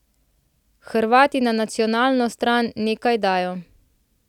Hrvati na nacionalno stran nekaj dajo.